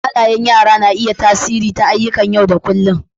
Halayan yara na iya yin tasiri ta ayyuƙan yau da kullun.